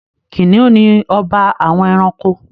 Kìnìún ni ọba àwọn ẹranko.